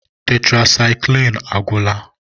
Tetrasaịklin agwụla.